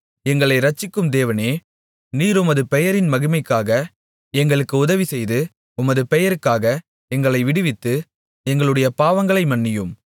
எங்களை இரட்சிக்கும் தேவனே நீர் உமது பெயரின் மகிமைக்காக எங்களுக்கு உதவிசெய்து உமது பெயருக்காக எங்களை விடுவித்து எங்களுடைய பாவங்களை மன்னியும்